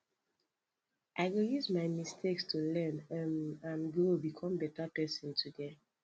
i go use my mistakes to learn um and grow become better person today